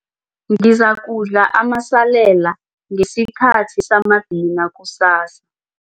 Ngizakudla amasalela ngesikhathi samadina kusasa.